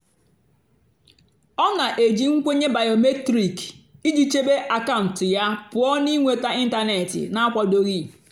ọ́ nà-èjì nkwènyé bìómétric ìjì chèbé àkàụ́ntụ́ yá pụ́ọ́ nà ị́nwètá ị́ntánètị́ nà-ákwádòghị́.